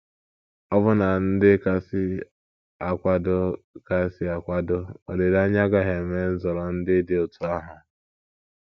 Ọbụna ndị kasị akwado kasị akwado olileanya agaghị eme nzọrọ ndị dị otú ahụ.